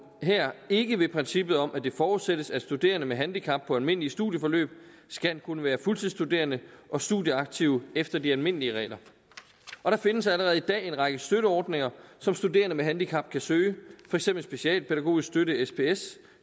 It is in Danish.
her ikke ved princippet om at det forudsættes at studerende med handicap på almindelige studieforløb skal kunne være fuldtidsstuderende og studieaktive efter de almindelige regler og der findes allerede i dag en række støtteordninger som studerende med handicap kan søge for eksempel specialpædagogisk støtte sps